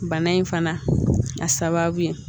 Bana in fana a sababu ye